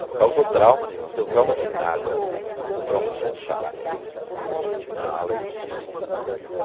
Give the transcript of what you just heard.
Não causou trauma nenhum, não tenho trauma de nada, tenho trauma de gente chata só, de gente mala e de gente estúpida.